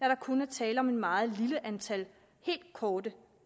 der kun er tale om et meget lille antal helt korte